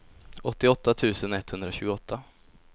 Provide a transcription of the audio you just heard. åttioåtta tusen etthundratjugoåtta